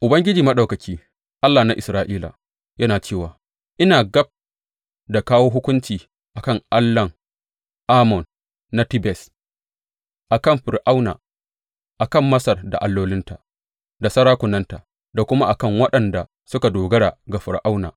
Ubangiji Maɗaukaki, Allah na Isra’ila, yana cewa, Ina gab da kawo hukunci a kan allahn Amon na Tebes, a kan Fir’auna, a kan Masar da allolinta da sarakunanta, da kuma a kan waɗanda suka dogara ga Fir’auna.